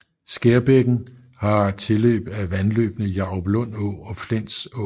Skærbækken har tilløb af vandløbene Jaruplund Å og Flenså